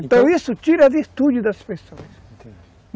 Então isso tira a virtude das pessoas.